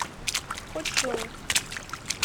хочжоу